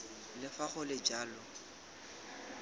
le fa go le jalo